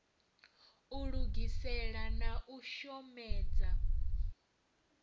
u lugisela na u shomedza